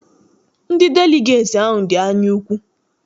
Ndị deligeeti ahụ dị anya ukwu.